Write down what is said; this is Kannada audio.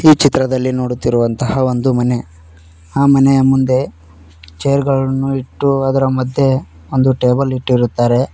ಈ ಚಿತ್ರದಲ್ಲಿ ನೋಡುತ್ತಿರುವಂತಹ ಒಂದು ಮನೆ ಆ ಮನೆಯ ಮುಂದೆ ಚೇರ್ ಗಳನ್ನು ಇಟ್ಟು ಅದರ ಮಧ್ಯೆ ಒಂದು ಟೇಬಲ್ ಅನ್ನು ಇಟ್ಟಿರುತ್ತಾರೆ.